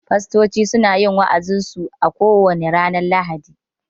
Fastocin suna yin wa'azin su a ko wane ranar lahadi